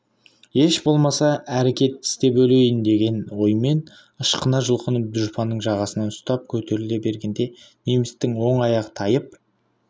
еш болмаса әрекет істеп өлейін деген оймен ышқына жұлқынып дұшпанның жағасынан ұстап көтеріле бергенде немістің оң аяғы тайып